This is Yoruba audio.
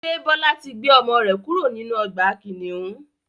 Ṣé Bọlá tí gbé ọmọ rẹ kúrò nínú ọgbà kìnnìún?